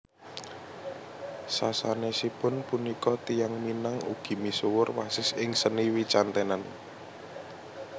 Sasanèsipun punika tiyang Minang ugi misuwur wasis ing seni wicantenan